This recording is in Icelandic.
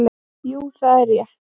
Jú það er rétt.